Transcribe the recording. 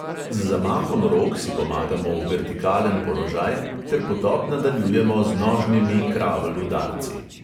Z zamahom rok si pomagamo v vertikalen položaj ter potop nadaljujemo z nožnimi kravl udarci.